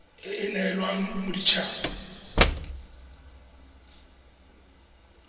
e e neelwang modit haba